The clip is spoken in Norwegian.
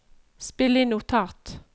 spill inn notat